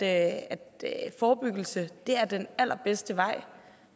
at forebyggelse er den allerbedste vej